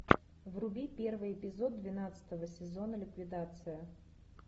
вруби первый эпизод двенадцатого сезона ликвидация